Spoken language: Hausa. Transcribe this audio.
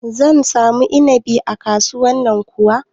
Zan samu inabi a kasuwan nan kuwa?